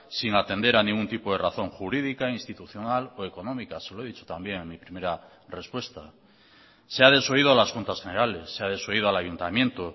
sin atender a ningún tipo de razón jurídica institucional o económica se lo he dicho también en mi primera respuesta se ha desoído a las juntas generales se ha desoído al ayuntamiento